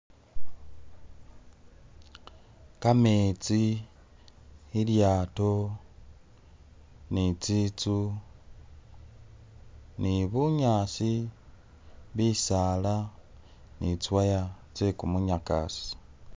kametsi ilyaato ni tsinzu ni bunyaasi, bisaala ni tsi wire tse kumunyakasi.